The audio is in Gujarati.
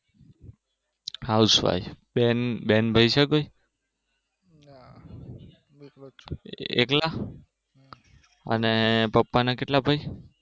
આવશે આવશે અને બેન ભાઈ છે કઈ? એકલા અને પપ્પાના કેટલા ભાઈ?